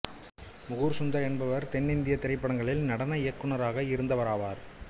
மூகூர் சுந்தர் என்பவர் தென்னிந்திய திரைப்படங்களில் நடன நடன இயக்குனராக இருந்தவராவார்